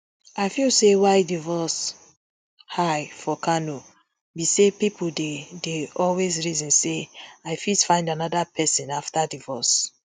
i feel say why divorce high for kano be say pipo dey dey always reason say i fit find anoda pesin afta divorce